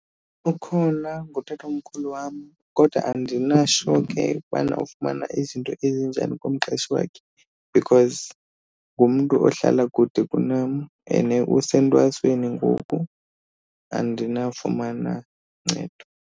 Ukhona ngutatomkhulu wam kodwa andina-sure ke ukubana ufumana izinto ezinjani kumqeshi wakhe because ngumntu ohlala kude kunam and usentwasweni ngoku andinawufumana ncedo.